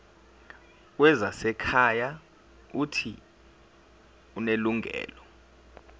wezasekhaya uuthi unelungelo